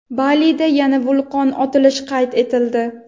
Balida yana vulqon otilishi qayd etildi.